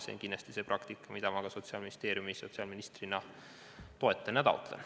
See on kindlasti praktika, mida ma ka sotsiaalministrina toetan ja taotlen.